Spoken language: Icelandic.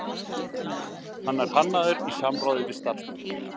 Hann er hannaður í samráði við starfsmenn